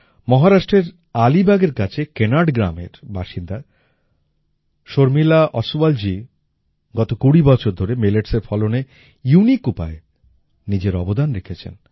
মহারাষ্ট্রের আলীবাগের কাছে কেনাড গ্রামের বাসিন্দা শর্মিলা ওসওয়ালজি গত কুড়ি বছর ধরে milletsএর ফলনে ইউনিক উপায়ে নিজের অবদান রেখেছেন